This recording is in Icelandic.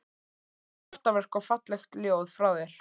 Kraftaverk og falleg ljóð frá þér